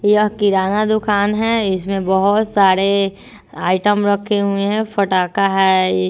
यह किराना दुकान है इसमें बहुत सारे आइटम रखे हुए है पटाखा है ।